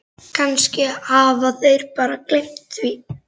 Kannski hafa þeir bara gleymt því.